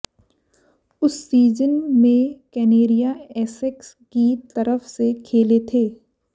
उस सीजन में कनेरिया एसेक्स की तरफ से खेले थे